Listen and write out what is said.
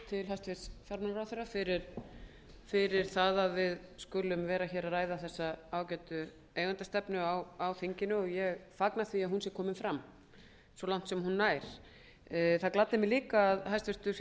til hæstvirts fjármálaráðherra fyrir það að við skulum vera að ræða þessa ágætu eigendastefnu á þinginu og ég fagna því að hún er komin fram svo langt sem hún nær það gladdi mig líka að hæstvirtur